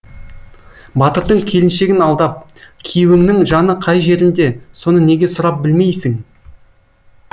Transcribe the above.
батырдың келіншегін алдап күйеуіңнің жаны қай жерінде соны неге сұрап білмейсің